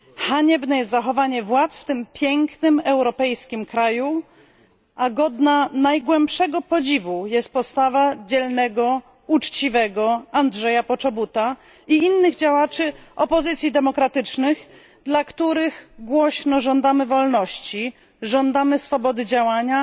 Haniebne jest zachowanie władz w tym pięknym europejskim kraju, a godna największego podziwu jest postawa dzielnego, uczciwego Andrzeja Poczobuta i innych działaczy opozycji demokratycznej, dla których głośno żądamy wolności, swobody działania,